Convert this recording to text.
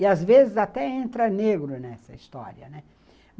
E, às vezes, até entra negro nessa história, né.